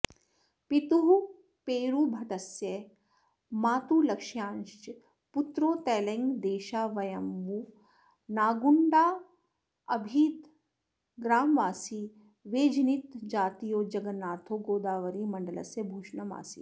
पितुः पेरुभट्टस्य मातुर्लक्ष्म्याश्च पुत्रो तैलङ्गदेशावयवमुनागुण्डाभिधग्रामवासी वेजिनतीजातीयो जगन्नाथो गोदावरीमण्डलस्य भूषणमासीत्